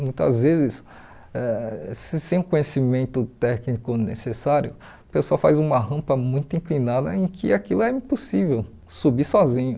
Muitas vezes, ãh se sem o conhecimento técnico necessário, o pessoal faz uma rampa muito inclinada em que aquilo é impossível subir sozinho.